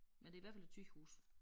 Men det i hvert fald et sygehus